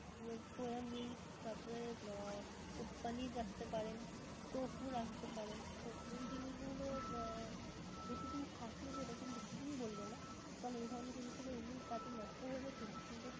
soya milk তারপরে আহ পনীর রাখতে পারেন, টফু রাখতে পারেন. তো এই জিনিসগুলো আহ বেশিদিন থাকে যেরকম বেশিদিন বলবো না কারণ এই ধরণের জিনিসগুলো এমনি তাড়াতাড়ি নষ্ট হয়ে যায় ঠিকি কিন্তু